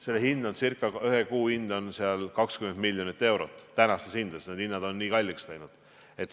Selle hind on 20 miljonit eurot tänastes hindades, hinnad on nii kalliks läinud.